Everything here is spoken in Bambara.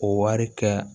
O wari kɛ